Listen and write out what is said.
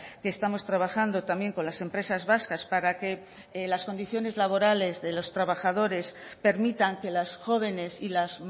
que estamos trabajando también con las empresas vascas para que las condiciones laborales de los trabajadores permitan que las jóvenes y las